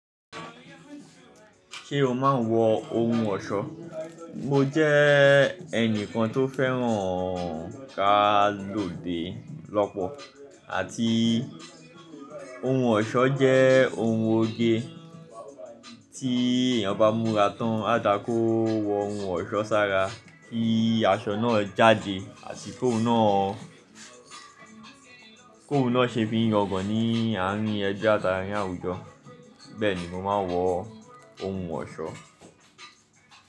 Ṣé o máa ń wọ ohun ọ̀ṣọ́? Mo jẹ́ ẹnìkan tó fẹ́ràn ká lòde lọ́pọ̀ àti ohun ọ̀ṣọ́ jẹ́ ohun oge tí èèyàn bá múra tán, a dà kó wọ ohun ọ̀ṣọ́ sára kí aṣọ náà jáde àti kó oun náà, kó n náà ṣe fí n yangan ní àárín ẹbi àti àárín àwùjọ. Bẹ́ẹ̀ ni mo máa ń wọ ohun ọ̀ṣọ́.